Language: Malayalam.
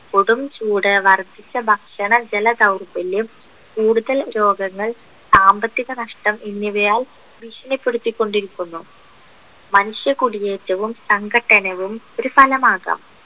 കൊടും ചൂട് വർധിച്ച ഭക്ഷണ ജലദൗർബല്യം കൂടുതൽ രോഗങ്ങൾ സാമ്പത്തിക നഷ്‌ടം എന്നിവയും ഭീഷണിപ്പെടുത്തി കൊണ്ടിരിക്കുന്നു മനുഷ്യ കുടിയേറ്റവും സംഘട്ടനവും ഒരു ഫലമാകാം